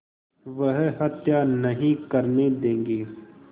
वह हत्या नहीं करने देंगे